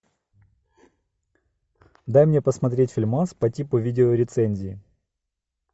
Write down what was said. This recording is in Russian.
дай мне посмотреть фильмас по типу видеорецензии